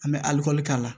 An bɛ k'a la